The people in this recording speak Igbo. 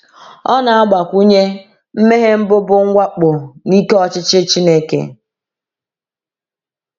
Ọ na-agbakwunye: “Mmehie mbụ bụ mwakpo n’ike ọchịchị Chineke.”